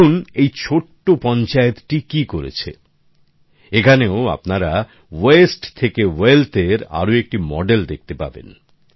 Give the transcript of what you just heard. দেখুন এই ছোট্ট পঞ্চায়েতটি কি করেছে এখানেও আপনারা ওয়েস্ট থেকে ওয়েলথএর আরেকটি মডেল দেখতে পাবেন